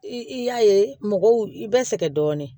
I y'a ye mɔgɔw bɛ sɛgɛn dɔɔnin